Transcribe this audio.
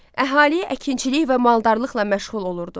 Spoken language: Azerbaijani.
Əhali əkinçilik və maldarlıqla məşğul olurdu.